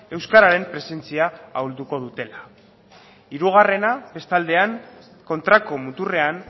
euskararen presentzia ahulduko dutela hirugarrena bestaldean kontrako muturrean